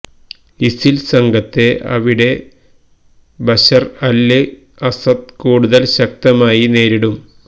ISIL സംഘത്തെ അവിടെ Bashar al Assad കൂടുതല് ശക്തമായി നേരിടും